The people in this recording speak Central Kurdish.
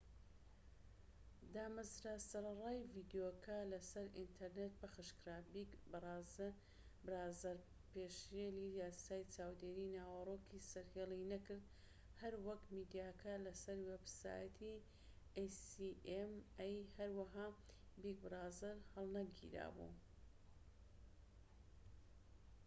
هەروەها acma دامەزرا سەرەڕای ڤیدیۆکە لە سەر ئینتەرنێت پەخشکرا بیگ برازەر پێشلی یاسای چاودێری ناوەرۆکی سەرهێڵی نەکرد هەروەک میدیاکە لە سەر وێبسایتی بیگ برازەر هەڵنەگیرا بوو